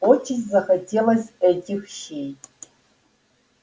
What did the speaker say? очень захотелось этих щей